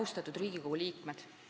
Austatud Riigikogu liikmed!